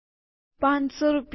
૫૦૦ રૂપિયા